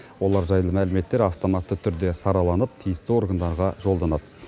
олар жайлы мәліметтер автоматты түрде сараланып тиісті органдарға жолданады